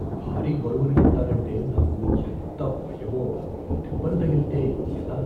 భారీ బరువులు ఎత్తాలంటే నాకు ఎంత భయమో. దెబ్బలు తగిల్తే ఎలా?